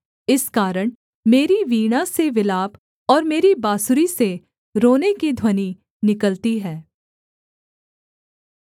इस कारण मेरी वीणा से विलाप और मेरी बाँसुरी से रोने की ध्वनि निकलती है